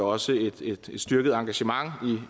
også et styrket engagement